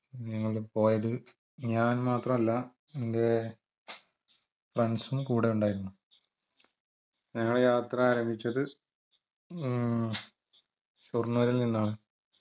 ഞങ്ങൾ പോയത് ഞാൻ മാത്രമല്ല എന്റെ friends ഉം കൂടെ ഉണ്ടായിരുന്നു ഞങ്ങൾ യാത്ര ആരംഭിച്ചത് മ്മ് ഷൊർണൂരിൽനിന്നാണ്